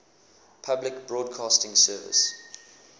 public broadcasting service